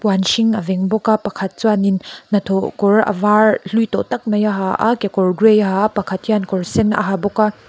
a veng bawk a pakhat chuanin hnathawh kawr a var hlui tawh tak mai a ha a kekawr gray a ha a pakhat hian kawr sen a ha bawk a.